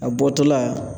A bɔtɔla